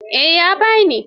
Eh, ya ba ni.